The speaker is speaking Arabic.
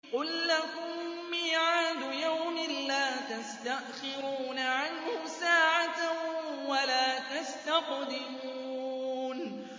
قُل لَّكُم مِّيعَادُ يَوْمٍ لَّا تَسْتَأْخِرُونَ عَنْهُ سَاعَةً وَلَا تَسْتَقْدِمُونَ